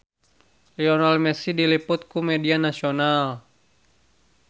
Lionel Messi diliput ku media nasional